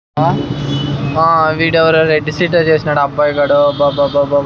మా వీడేవతో రెడ్ సీటర్ చేశాడు అబ్బాయి గాడు అబ్బ అబ్బ అబ్బా.